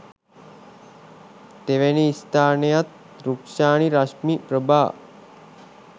තෙවැනි ස්‌ථානයත් රුක්‌ෂානි රශ්මි ප්‍රභා